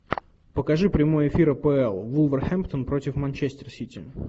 покажи прямой эфир апл вулверхэмптон против манчестер сити